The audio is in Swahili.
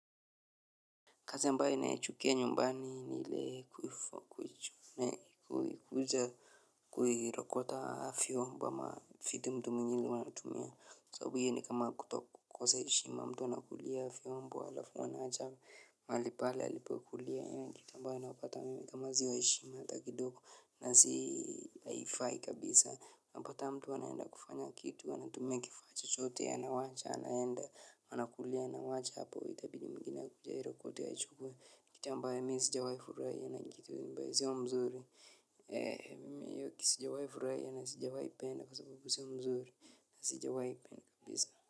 Kazi ambayo ninaichukia nyumbani ni ile kuja kuirokota vyombo ama viti mtu mwingine wanatumia. Sababu hio ni kama kutokosa heshima mtu anakulia viombo alafu anawacha. Mahali pale alipokulia hio ni kitu ambayo ninayopata mimi kama sio heshima hata haifai kabisa. Unapata mtu anaenda kufanya kitu anatumia kifaa chochote anawacha anaenda anakulia anawacha hapo itabidi mwingine akuje airokote aichukue. Ni jambo ambayo mimi sijwawahi furahia na kitu ambayo sio mzuri. Mimi hio kitu sijawahi furahia na sijawai penda kwa sababu sio mzuri na si jawahi penda kabisa.